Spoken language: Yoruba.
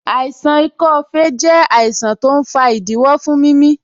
Àìsàn ikọ́ fèé jẹ àìsàn tó ń fa ìdíwọ́ fún mimi